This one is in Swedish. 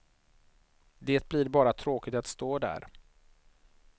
Det blir bara tråkigt att stå där.